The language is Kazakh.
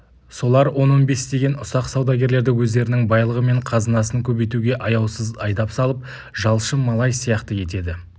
солар он-он бестеген ұсақ саудагерлерді өздерінің байлығы мен қазынасын көбейтуге аяусыз айдап салып жалшы-малай сияқты етеді